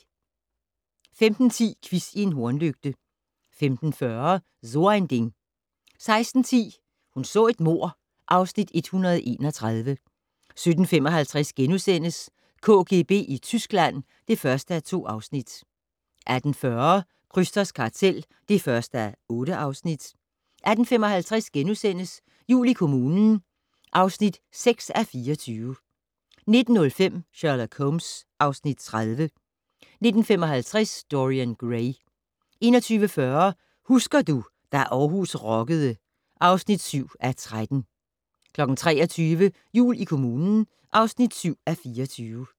15:10: Quiz i en hornlygte 15:40: So ein Ding 16:10: Hun så et mord (Afs. 131) 17:55: KGB i Tyskland (1:2)* 18:40: Krysters kartel (1:8) 18:55: Jul i kommunen (6:24)* 19:05: Sherlock Holmes (Afs. 30) 19:55: Dorian Gray 21:40: Husker du - da Århus rockede (7:13) 23:00: Jul i kommunen (7:24)